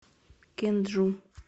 кенджу